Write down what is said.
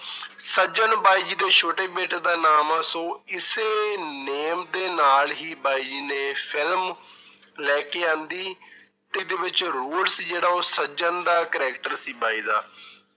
ਸੱਜਣ ਬਾਈ ਜੀ ਦੇ ਛੋਟੇ ਬੇਟੇ ਦਾ ਨਾਮ ਆ ਸੋ ਇਸੇ name ਦੇ ਨਾਲ ਹੀ ਬਾਈ ਜੀ ਨੇ film ਲੈ ਕੇ ਆਉਂਦੀ ਤੇ ਇਹਦੇ ਵਿੱਚ ਰੋਲ ਸੀ ਜਿਹੜਾ ਉਹ ਸੱਜਣ ਦਾ character ਸੀ ਬਾਈ ਦਾ।